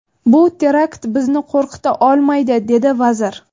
Bu terakt bizni qo‘rqita olmaydi”, dedi vazir.